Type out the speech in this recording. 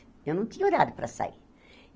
Eu não tinha horário para sair.